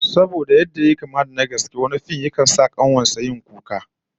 Saboda yadda yayi kama da na gaske, wani fim yakan sa kanuwar sa kuka